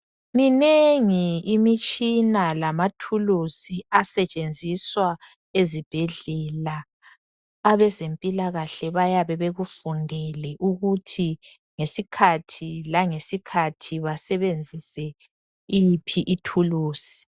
Minengi imitshina lamathuluzi asetshenziswa ezibhedlela. Abezempilakahle bayabe bekundelw ukuthi ngesikhathi langesikhathi basebenzisa yiphi ithulusi.